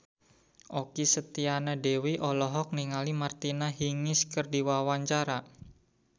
Okky Setiana Dewi olohok ningali Martina Hingis keur diwawancara